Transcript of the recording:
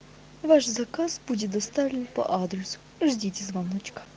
ваш заказ будет доставлен по адресу ждите звонок